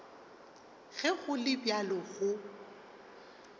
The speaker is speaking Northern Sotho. ge go le bjalo go